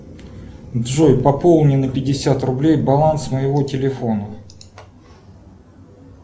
джой пополни на пятьдесят рублей баланс моего телефона